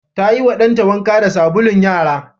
Ta yiwa ɗanta wanka da sabulun yara.